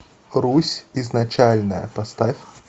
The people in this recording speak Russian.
русь изначальная поставь